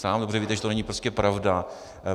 Sám dobře víte, že to není prostě pravda.